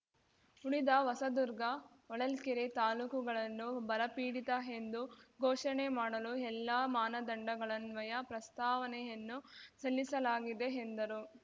ಉಳಿದ ಹೊಸದುರ್ಗ ಹೊಳಲ್ಕೆರೆ ತಾಲೂಕುಗಳನ್ನು ಬರಪೀಡಿತ ಎಂದು ಘೋಷಣೆ ಮಾಡಲು ಎಲ್ಲಾ ಮಾನದಂಡಗಳನ್ವಯ ಪ್ರಸ್ತಾವನೆಯನ್ನು ಸಲ್ಲಿಸಲಾಗಿದೆ ಎಂದರು